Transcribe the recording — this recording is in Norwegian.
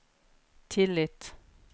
tillit